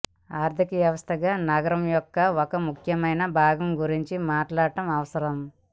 ఆర్థిక వ్యవస్థగా నగరం యొక్క ఒక ముఖ్యమైన భాగం గురించి మాట్లాడటం అవసరం